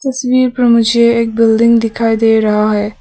तस्वीर पर मुझे एक बिल्डिंग दिखाई दे रहा है।